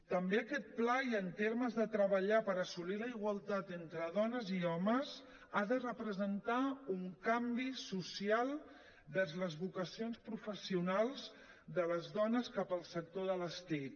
també aquest pla i en termes de treballar per assolir la igualtat entre dones i homes ha de representar un canvi social envers les vocacions professionals de les dones cap al sector de les tic